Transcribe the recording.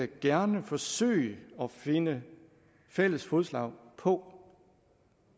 gerne forsøge at finde fælles fodslag på